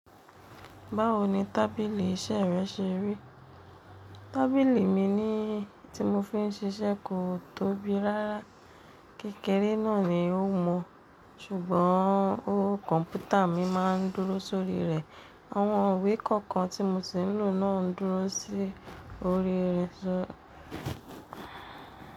Báwo ni tábìlì iṣẹ́ rẹ ṣe rí? Tábìlì mi ni tí mo fi ń ṣiṣẹ́ kò tóbi rárá. Kékèré náà ni ó mọ̀, ṣùgbọ́n kọ̀ǹpútà mi máa ń dúró sórí rẹ̀. Àwọn ìwé kọ̀ọ̀kan tí mo ti ń lò náà ń dúró sórí rẹ̀ sọ̀.